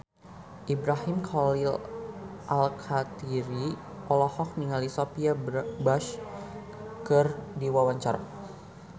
Ibrahim Khalil Alkatiri olohok ningali Sophia Bush keur diwawancara